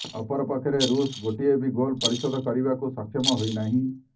ଅପରପକ୍ଷରେ ରୁଷ୍ ଗୋଟିଏ ବି ଗୋଲ୍ ପରିଶୋଧ କରିବାକୁ ସକ୍ଷମ ହୋଇନାହିଁ